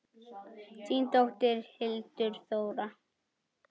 Þín dóttir, Hildur Þóra.